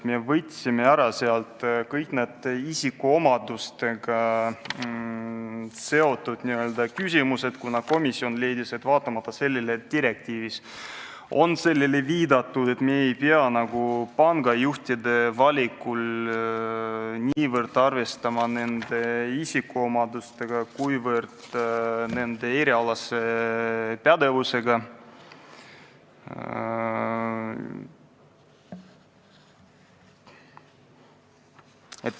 Me võtsime sealt välja kõik isikuomadustega seotu, kuna komisjon leidis, et kuigi direktiivis on sellelegi viidatud, ei pea me pangajuhtide valikul arvestama niivõrd nende isikuomadustega, kuivõrd nende erialase pädevusega.